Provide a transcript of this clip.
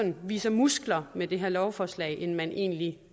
viser muskler med det her lovforslag end at man egentlig